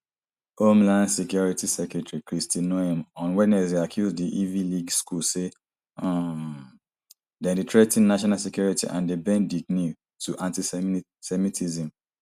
homeland security secretary kristi noem on wednesday accuse di ivy league school say um dem dey threa ten national security and dey bend di knee to antisemitism